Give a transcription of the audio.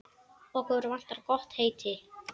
Okkur vantar gott heiti.